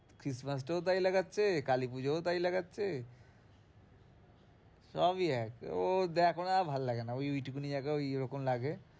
Christmas day ও তাই লাগাচ্ছে, কালী পুজোয়ও তাই লাগাচ্ছে সবই এক ও এখন আর ভালো লাগে না, ওই ঐটুকুনি জায়গা ঐরকম লাগে।